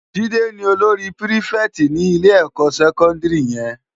Jide ni ólóri pirifèti ni ilé èkò sèkòndiri yèn